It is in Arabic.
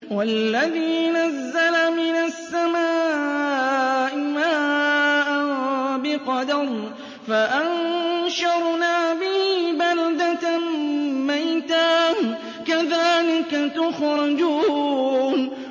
وَالَّذِي نَزَّلَ مِنَ السَّمَاءِ مَاءً بِقَدَرٍ فَأَنشَرْنَا بِهِ بَلْدَةً مَّيْتًا ۚ كَذَٰلِكَ تُخْرَجُونَ